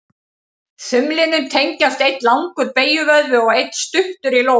Þumlinum tengjast einn langur beygjuvöðvi og einn stuttur í lófanum.